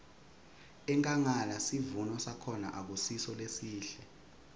enkhangala sivuno sakhona akusiso lesihle